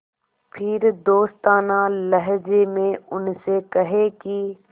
फिर दोस्ताना लहजे में उनसे कहें कि